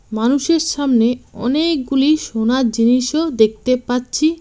মানুষের সামনে অনেকগুলি সোনার জিনিসও দেখতে পাচ্ছি।